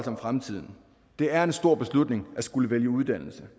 om fremtiden det er en stor beslutning at skulle vælge uddannelse